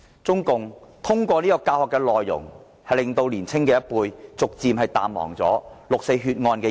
中共通過教學，令年青一輩逐漸淡忘六四血案。